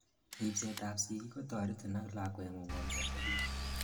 ripset ab sigik kotoretin ak lakwengung omiachegitu